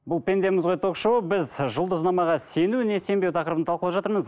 бұл пендеміз ғой ток шоуы біз ы жұлдызнамаға сену не сенбеу тақырыбын талқылап жатырмыз